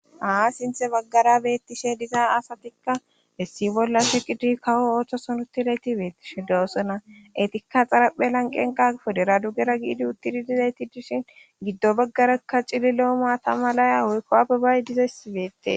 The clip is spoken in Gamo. Ha sinthe baggara beettishe dizaa asatikka issi bolla shiqidi kawo oothoson uttizayti beettishe doosona etikka xaraphe lanqen pudera dugera giidi uttidi dizayti dishin giddo baggarakka cilli lo7o maata malaya awuykkoabebaay dizessi beettes.